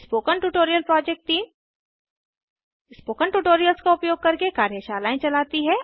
spoken tutorial project team spoken tutorials का उपयोग करके कार्यशालाएं चलाती है